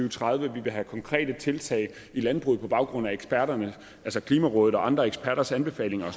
og tredive vi vil have konkrete tiltag i landbruget på baggrund af klimarådets og andre eksperters anbefalinger og